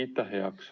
Aitäh!